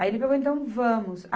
Aí, ele falou, então, vamos.